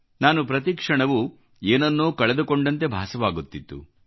ನಾನು ಪ್ರತಿ ಕ್ಷಣವೂ ಏನನ್ನೋ ಕಳೆದುಕೊಂಡಂತೆ ಭಾಸವಾಗುತ್ತಿತ್ತು